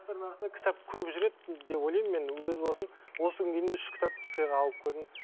кітап көп жүреді деп ойлаймын мен өз басым осы күнге дейін үш кітап сыйға алып көрдім